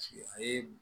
Paseke a ye